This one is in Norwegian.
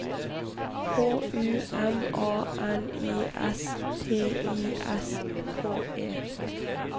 H U M A N I S T I S K E